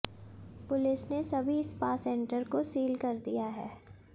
police ने सभी spa centre को सील कर दिया है